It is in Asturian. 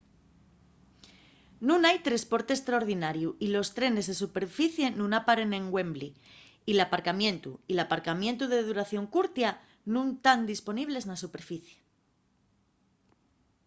nun hai tresporte estraordinariu y los trenes de superficie nun aparen en wembley y l’aparcamientu y l’aparcamientu de duración curtia nun tán disponibles na superficie